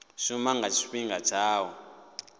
shuma nga tshifhinga tsha u